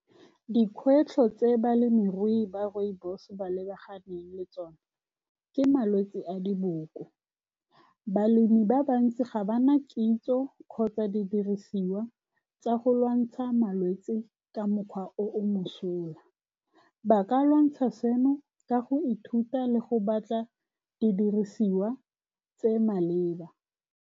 Dikgwetlho tse balemirui ba rooibos-e ba lebaganeng le tsone ke malwetse a diboko. Balemi ba bantsi ga ba na kitso kgotsa didirisiwa tsa go lwantsha malwetse ka mokgwa o o mosola. Ba ka lwantsha seno ka go ithuta le go batla didirisiwa tse di maleba.